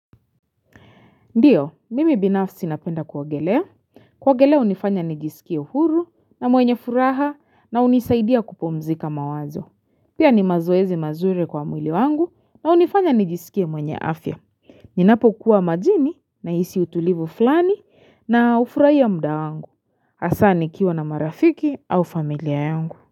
Ndiyo, mimi binafsi napenda ku ogelea. Ku ogelea unifanya nijisikie huru na mwenye furaha na unisaidia kupumzika mawazo. Pia ni mazoezi mazuri kwa mwili wangu na unifanya nijisikie mwenye afya. Ninapo kuwa majini na hisi utulivu flani na ufurahia mda wangu. Hasa nikiwa na marafiki au familia yungu.